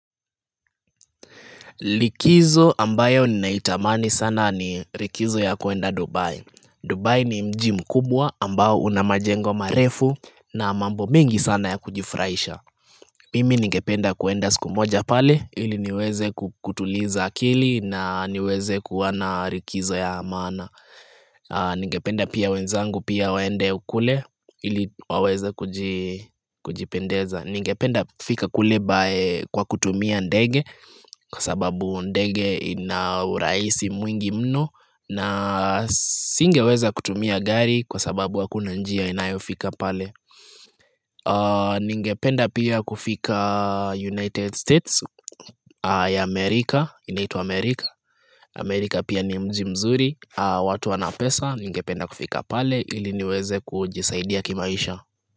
Likizo ambayo ninaitamani sana ni likizo ya kuenda Dubai. Dubai ni mji mkubwa ambao una majengo marefu na mambo mingi sana ya kujifraisha Mimi ningependa kuenda siku moja pale ili niweze kutuliza akili na niweze kuwa na likizo ya maana Ningependa pia wenzangu pia waende kule ili waweze kujipendeza Ningependa kufika kule by kwa kutumia ndege kwa sababu ndege ina uraisi mwingi mno na singeweza kutumia gari kwa sababu hakuna njia inayofika pale Ningependa pia kufika United States ya Amerika, inaitwa Amerika, Amerika pia ni mji mzuri, watu wana pesa, ningependa kufika pale ili niweze kujisaidia kimaisha.